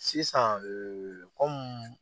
Sisan